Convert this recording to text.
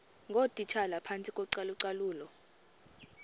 ngootitshala phantsi kocalucalulo